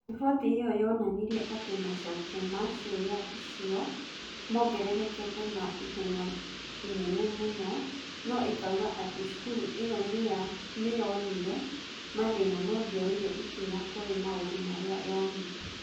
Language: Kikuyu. Riboti ĩyo yonanirie atĩ macokio ma ciũria icio maongererekete na ihenya inene mũno, na ĩkoiga atĩ cukuru ĩyo nĩ yonire mathĩna no ndĩoire ikinya kũrĩ maũndũ marĩa yonire.